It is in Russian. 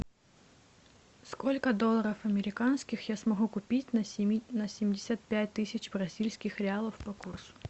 сколько долларов американских я смогу купить на семьдесят пять тысяч бразильских реалов по курсу